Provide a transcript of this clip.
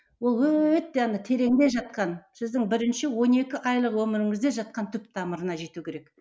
ол өте ана тереңде жатқан сіздің бірінші он екі айлық өміріңізде жатқан түп тамырына жету керек